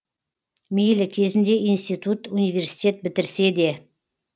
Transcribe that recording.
мейлі кезінде институт университет бітірсе де